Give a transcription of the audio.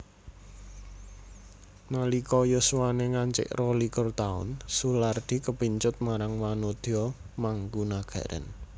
Nalika yuswané ngancik rolikur taun Soelardi kepincut marang wanodya mangkunagaran